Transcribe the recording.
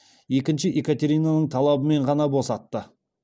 екінші екатеринаның талабымен ғана босатты